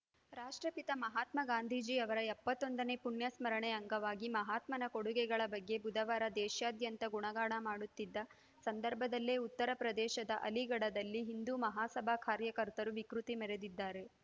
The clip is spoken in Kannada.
ರಾಷ್ಟ್ರಪಿತ ಮಹಾತ್ಮ ಗಾಂಧೀಜಿ ಅವರ ಎಪ್ಪತ್ತೊಂದನೇ ಪುಣ್ಯಸ್ಮರಣೆ ಅಂಗವಾಗಿ ಮಹಾತ್ಮನ ಕೊಡುಗೆಗಳ ಬಗ್ಗೆ ಬುಧವಾರ ದೇಶಾದ್ಯಂತ ಗುಣಗಾನ ಮಾಡುತ್ತಿದ್ದ ಸಂದರ್ಭದಲ್ಲೇ ಉತ್ತರಪ್ರದೇಶದ ಅಲಿಗಢದಲ್ಲಿ ಹಿಂದೂ ಮಹಾಸಭಾ ಕಾರ್ಯಕರ್ತರು ವಿಕೃತಿ ಮೆರೆದಿದ್ದಾರೆ